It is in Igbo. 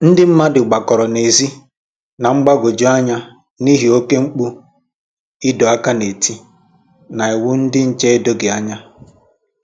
ndị mmadụ gbakọrọ n'ezi, na mgbagwoju anya n'ihi oke mkpu ịdọ áká na ntị na iwu ndị nche edoghi ànyà